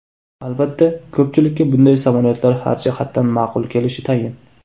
Albatta, ko‘pchilikka bunday samolyotlar har jihatdan ma’qul kelishi tayin.